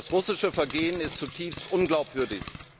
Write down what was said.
Das russische Vorgehen ist zutiefst unglaubwürdig.